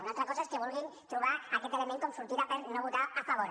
una altra cosa és que vulguin trobar aquest element com a sortida per no votar hi a favor